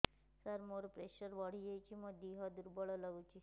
ସାର ମୋର ପ୍ରେସର ବଢ଼ିଯାଇଛି ମୋ ଦିହ ଦୁର୍ବଳ ଲାଗୁଚି